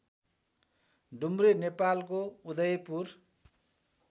डुम्रे नेपालको उदयपुर